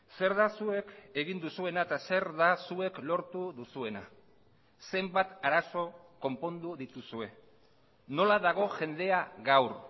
zer da zuek egin duzuena eta zer da zuek lortu duzuena zenbat arazo konpondu dituzue nola dago jendea gaur